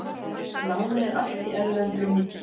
Lánið er allt í erlendri mynt